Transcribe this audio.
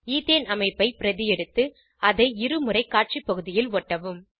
ethane அமைப்பை பிரதி எடுத்து அதை இருமுறை காட்சி பகுதியில் ஒட்டவும்